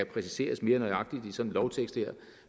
præciseres mere nøjagtigt i sådan en lovtekst her